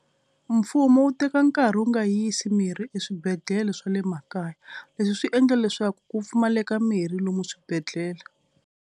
Mfumo wu teka nkarhi wu nga yisi mirhi eswibedhlele swa le makaya. Leswi swi endla leswaku ku pfumaleka mirhi lomu swibedhlele.